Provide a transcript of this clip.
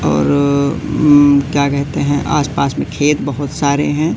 और उम्म्म क्या कहते हैं आस पास में खेत बहोत सारे हैं।